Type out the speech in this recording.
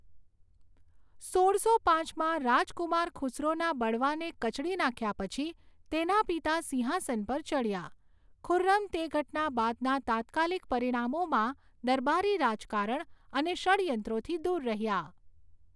સોળસો પાંચમાં, રાજકુમાર ખુસરોના બળવાને કચડી નાખ્યા પછી તેના પિતા સિંહાસન પર ચઢ્યા, ખુર્રમ તે ઘટના બાદના તાત્કાલિક પરિણામોમાં દરબારી રાજકારણ અને ષડ્યંત્રોથી દૂર રહ્યા